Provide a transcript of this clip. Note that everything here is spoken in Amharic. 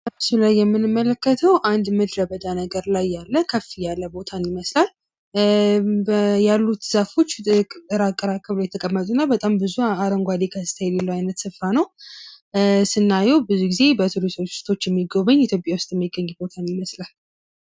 በምስሉ ላይ የምንመለከተው አንድ ምድረበዳ ላይ ያለ ቦታን ይመስላል። ያሉት ዛፎች በጣም ራቅ ራቅ ብለው የተቀመጡ እና በጣም ብዙ አረንጓዴ የሚመስል ቦታ ነው። ስናየው ብዙ ጊዜ በቱሪስቶች የሚጎበኝ ኢትዮጵያ ውስጥ የሚገኝ ቦታን ይመስላል።